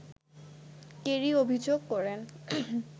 Kerry অভিযোগ করেন